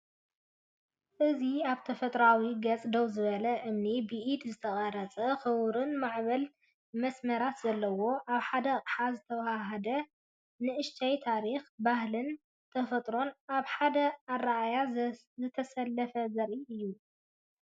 እዚ ኣብ ተፈጥሮኣዊ ገጽ ደው ዝበለ እምኒ፡ ብኢድ ዝተቐርጸ ክቡብን ማዕበልን መስመራት ዘለዎ። ኣብ ሓደ ኣቕሓ ዝተዋሃሃደ ንእሽተይ ታሪኽ፡ ባህልን ተፈጥሮን ኣብ ሓደ ኣረኣእያ ዝተሰለፈ ዘርኢ እዩ።